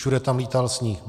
Všude tam lítal sníh.